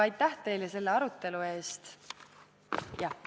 Aitäh teile selle arutelu eest!